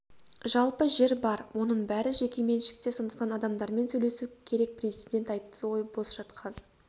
жалпы жер бар оның бәрі жеке меншікте сондықтан адамдармен сөйлесу керек президент айтты ғой бос жатқан